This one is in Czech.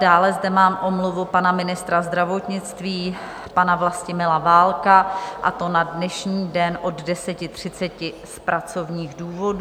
Dále zde mám omluvu pana ministra zdravotnictví pana Vlastimila Válka, a to na dnešní den od 10.30 z pracovních důvodů.